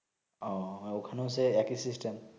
আহ ওখানেও সে একি সিস্টেম